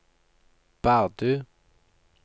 Bardu